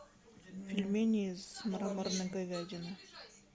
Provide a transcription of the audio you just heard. пельмени с мраморной говядиной